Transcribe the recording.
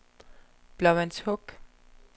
Blåvandshuk